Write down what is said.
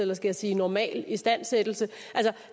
måske sige normal istandsættelse